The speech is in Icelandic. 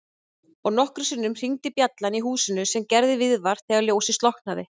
Og nokkrum sinnum hringdi bjallan í húsinu sem gerði viðvart þegar ljósið slokknaði.